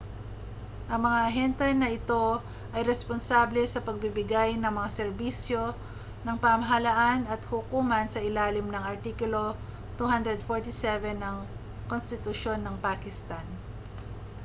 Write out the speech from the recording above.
ang mga ahente na ito ay responsable sa pagbibigay ng mga serbisyo ng pamahalaan at hukuman sa ilalim ng artikulo 247 ng konstitusyon ng pakistan